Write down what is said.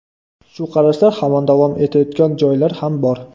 Shu qarashlar hamon davom etayotgan joylar ham bor.